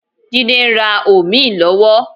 Jídé ń rà òmíì lọ́wọ́.